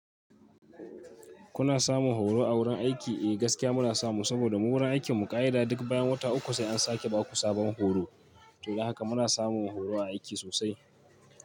Kuna samun horo a wurin aiki? Eh gaskiya muna samu saboda mu wurin aikin mu ƙa'ida duk bayan wata uku, sai an sake ba ku sabon horo. To don haka muna samun horo a aiki sosai.